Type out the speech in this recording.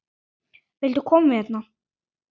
Viltu koma hérna?